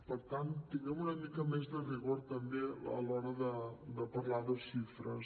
per tant tinguem una mica més de rigor també a l’hora de parlar de xifres